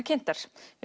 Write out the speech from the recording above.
kynntar